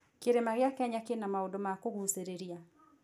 Kĩrĩma gĩa Kenya kĩna maũndũ ma kũgucĩrĩria.